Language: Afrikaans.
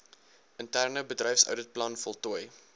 interne bedryfsouditplan voltooi